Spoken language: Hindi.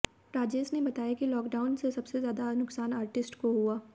राजेश ने बताया कि लॉकडाउन से सबसे ज्यादा नुकसान आर्टिस्ट को हुआ